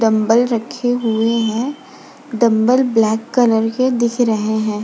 Dumbbell रखे हुए हैं डंबल ब्लैक कलर के दिख रहे हैं।